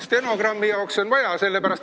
Stenogrammi jaoks on vaja.